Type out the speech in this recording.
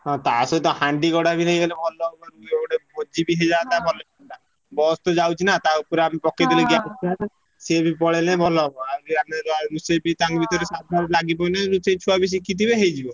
ହଁ ତା ସହିତ ହାଣ୍ଡି, ଗଡା ବି ନେଇଗଲେ ଭଲ ଇଏ ଗୋଟେ ଭୋଜି ବି ହେଲା ତାପରେ bus ତ ଯାଉଛି ନା ତା ଉପରେ ଆମେ ପକେଇଦେଲେ ସିଏବି ପଳେଇଲେ ଭଲ ହବ ସିଏ ବି ତାଙ୍କ ଭିତରେ ଲାଗିପଇଲେ ରୋଷେଇ ଛୁଆ ବି ଶିଖିଥିବେ ହେଇଯିବ।